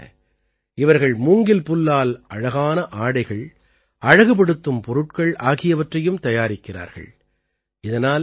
இது மட்டுமல்ல இவர்கள் மூங்கில் புல்லால் அழகான ஆடைகள் அழகுபடுத்தும் பொருட்கள் ஆகியவற்றையும் தயாரிக்கிறார்கள்